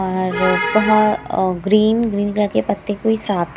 यहां जो है और ग्रीन ग्रीन कलर के पत्ते कोई सात --